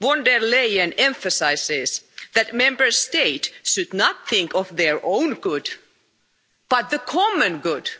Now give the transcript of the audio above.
Ms von der Leyen emphasises that Member States should not think of their own good, but the common good.